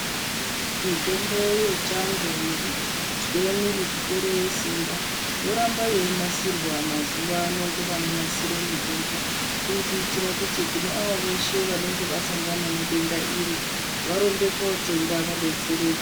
Mitombo yechando nekuzwe mwiri kupere simba yoramba yeinasirwa mazuwa ano ngevanonasire mitombo kuri kuitire kuti kune avo veshe vanenge vasangana nedenda iri varumbe kotenga vadetsereke.